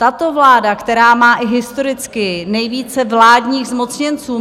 Tato vláda, která má i historicky nejvíce vládních zmocněnců.